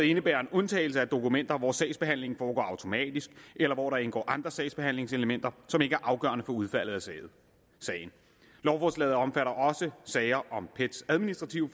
indebærer en undtagelse af dokumenter hvor sagsbehandlingen foregår automatisk eller hvor der indgår andre sagsbehandlingselementer som ikke er afgørende for udfaldet af sagen lovforslaget omfatter også sager om pets administrative